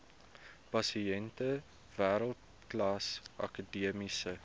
pasiënte wêreldklas akademiese